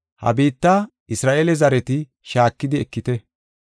“Ha biitta Isra7eele zareti shaakidi ekite.